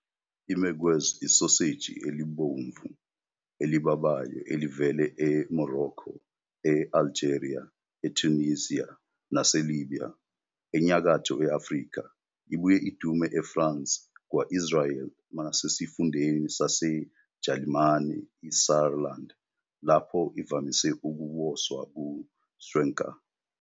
I-Merguez isoseji elibomvu, elibabayo elivela e-Morocco, e-Algeria, e-Tunisia nase-Libya, eNyakatho Afrika. Ibuye idume eFrance, kwa-Israel, nasesifundeni saseJalimane iSaarland, lapho ivamise ukuwoswa ku- Schwenker.